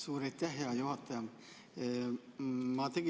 Suur aitäh, hea juhataja!